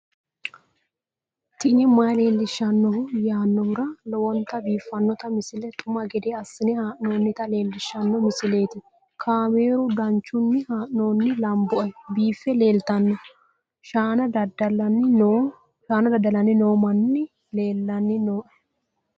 tini maa leelishs hanno yaannohura lowonta biiffanota misile xuma gede assine haa'noonnita leellishshanno misileeti kaameru danchunni haa'noonni lamboe biiffe leeeltanno shaana dadalanni noo manni leelanni nooe